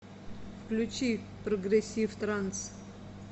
включи прогрессив транс